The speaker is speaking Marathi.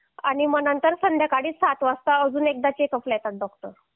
आणि मंग नंतर संध्याकाळी सात वाजता अजून एकदा चेकअपला येतात डॉक्टर